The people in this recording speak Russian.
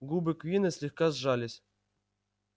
губы куинна слегка сжались